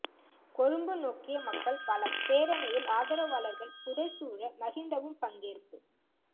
கொழும்பு நோக்கிய மக்கள் பலம் பேரணியில் ஆதரவாளர்கள் புடைசூழ மஹிந்தவும் பங்கேற்பு